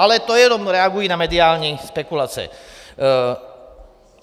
Ale to jenom reaguji na mediální spekulace.